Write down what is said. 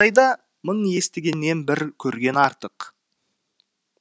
мың естігеннен бір көрген артық